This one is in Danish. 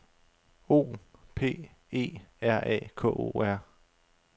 O P E R A K O R